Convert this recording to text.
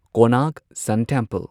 Konark sun temple